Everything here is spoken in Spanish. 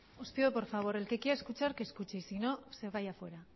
os pido por favor el que quiera escuchar que escuche y si no que se vaya fuera